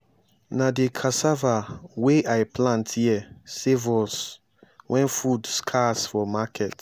na di cassava wey i plant here save us wen food scarce for market.